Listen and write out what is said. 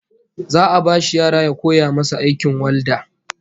Za'a bashi yara ya koya musu aikin walda